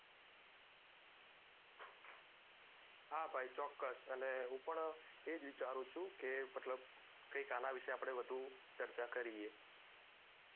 હા ભાઈ ચોકસ અને હું પણ એ જ વિચારું છુ કે મતલબ કેકઈક આના વિશે આપને વધુ ચર્ચા કરિએ